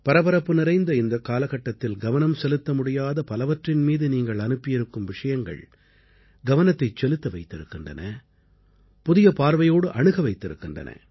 பரபரப்பு நிறைந்த இந்தக் காலகட்டத்தில் கவனம் செலுத்த முடியாத பலவற்றின் மீது நீங்கள் அனுப்பியிருக்கும் விஷயங்கள் கவனத்தைச் செலுத்த வைத்திருக்கின்றன புதிய பார்வையோடு அணுக வைத்திருக்கின்றன